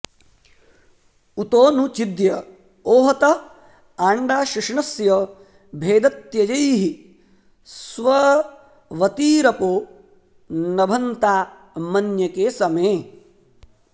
उतो नु चिद्य ओहत आण्डा शुष्णस्य भेदत्यजैः स्वर्वतीरपो नभन्तामन्यके समे